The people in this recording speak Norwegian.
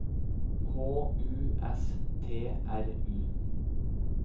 H U S T R U